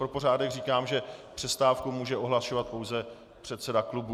Pro pořádek říkám, že přestávku může ohlašovat pouze předseda klubu.